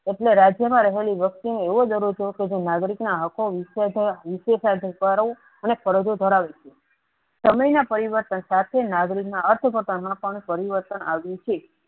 એટલે રાજ્ય મા રહેલી વસ્તુ એવો કે નાગરિક ને આકો થયા અને ફરજો ધરાવે છે સમય ના પરિવર્તન સાથે નાગરિક મા અસફળતા મા પણ પરિવર્તન આવેલું છે.